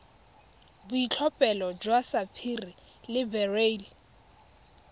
boitlhophelo jwa sapphire le beryl